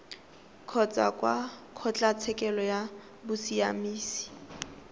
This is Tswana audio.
kgotsa kwa kgotlatshekelo ya bosiamisi